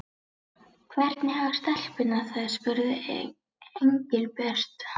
Hvernig hafa stelpurnar það? spurði Engilbert.